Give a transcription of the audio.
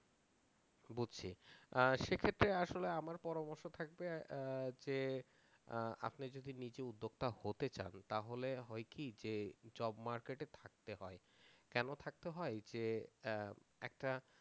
বুঝছি। সেক্ষেত্রে আসলে আমার পরামর্শ থাকবে যে আপনি যদি নিজে উদ্যোক্তা হতে চান তাহলে হয় কি যে job market থাকতে হয় কেন থাকতে হয় যে একটা